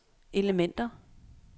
elementer